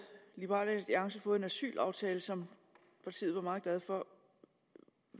liberal alliance fået en asylaftale som partiet var meget glad for